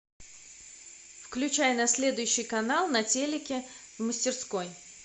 включай на следующий канал на телике в мастерской